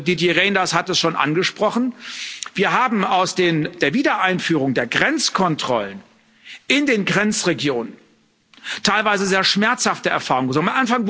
Didier Reynders hat es schon angesprochen Wir haben aus der Wiedereinführung der Grenzkontrollen in den Grenzregionen teilweise sehr schmerzhafte Erfahrungen gesammelt.